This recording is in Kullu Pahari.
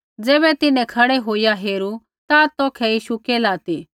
ज़ैबै तिन्हैं खड़ै होईया हेरू ता तौखै यीशु केल्हा ती